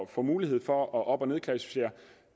får mulighed for at op og nedklassificere